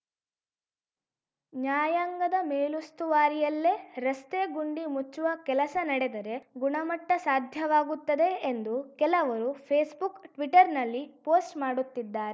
ನ್ಯಾಯಾಂಗದ ಮೇಲುಸ್ತುವಾರಿಯಲ್ಲೇ ರಸ್ತೆ ಗುಂಡಿ ಮುಚ್ಚುವ ಕೆಲಸ ನಡೆದರೆ ಗುಣಮಟ್ಟಸಾಧ್ಯವಾಗುತ್ತದೆ ಎಂದು ಕೆಲವರು ಫೇಸ್‌ ಬುಕ್‌ ಟ್ವೀಟರ್‌ನಲ್ಲಿ ಪೋಸ್ಟ್‌ ಮಾಡುತ್ತಿದ್ದಾ